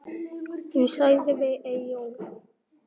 Hún sagði við Eyjólf